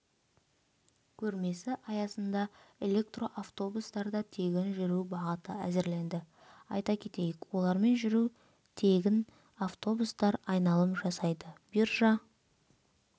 көрмесі аясында электроавтобустарда тегін жүру бағыты әзірленді айта кетейік олармен жүрі тегін автобустар айналым жасайды биржа